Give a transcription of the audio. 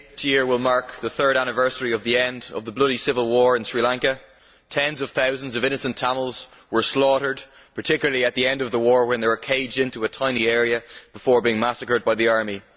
Mr President, May this year will mark the third anniversary of the end of the bloody civil war in Sri Lanka. Tens of thousands of innocent Tamils were slaughtered, particularly at the end of the war when they were caged into a tiny area before being massacred by the army.